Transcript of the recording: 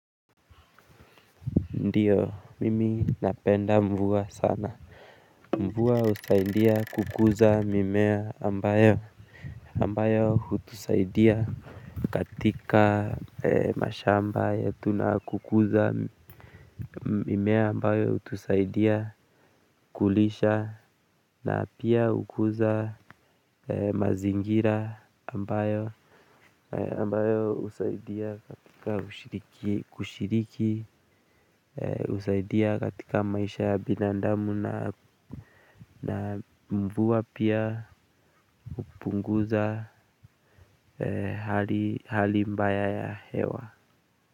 Ndiyo, mimi napenda mvua sana. Mvua husaidia kukuza mimea ambayo ambayo hutusaidia katika mashamba yetu na kukuza mimea ambayo hutusaidia kulisha na pia ukuza mazingira ambayo ambayo husaidia katika ushiriki kushiriki, husaidia katika maisha ya binadamu na mvua pia hupunguza hali mbaya ya hewa.